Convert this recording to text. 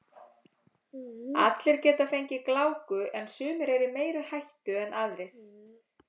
Allir geta fengið gláku en sumir eru í meiri hættu en aðrir.